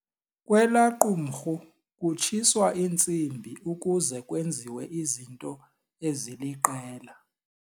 Kwelaa qumrhu kutshiswa intsimbi ukuze kwenziwe izinto eziliqela.